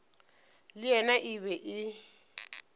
le yena e be e